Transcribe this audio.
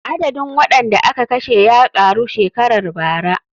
Adadin waɗanda aka kashe ya ƙaru shekarar bara.